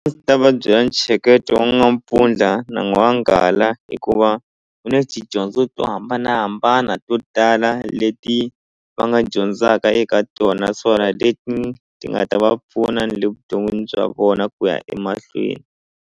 A ndzi ta va byela wa n'wampfundla na n'wanghala hikuva ku na tidyondzo to hambanahambana to tala leti va nga dyondzaka eka tona naswona leti ti nga ta va pfuna ni le vuton'wini bya vona ku ya emahlweni.